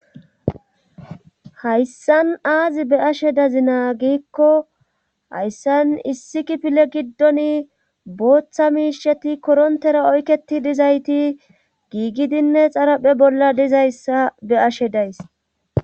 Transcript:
hayssan aazi be ashe dazi naagiikko hayssan issi kipile giddon booththa miisheti korontera oyketi dizayti giigidinne xaraphe bolla dizayssa be7ashe days.